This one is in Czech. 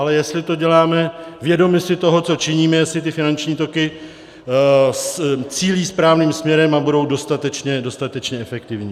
Ale jestli to děláme vědomi si toho, co činíme, jestli ty finanční toky cílí správným směrem a budou dostatečně efektivní.